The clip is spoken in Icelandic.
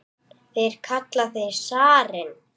Þeir kalla þig zarinn!